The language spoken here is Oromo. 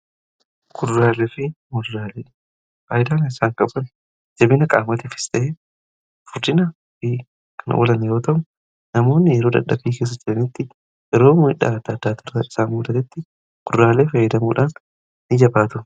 Kudurraalee fi muduraalee faayidaa essaan qaban jabina qaamatiifis ta'ee furdina fi kan walan iwoo ta'u namoonni yeroo dadhabii keessa jiranitti yeroo miidhaa addaati irra isaa mudatetti kuduraalee fi muduraalee fayyadamuun gaariidha.